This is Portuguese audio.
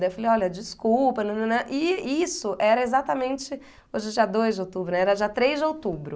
Daí eu falei, olha, desculpa, e isso era exatamente, hoje é dia dois de outubro, era dia três de outubro.